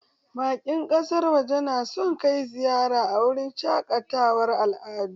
Bakin ƙasar waje na son kai ziyara a wurin shaƙatawar al'adu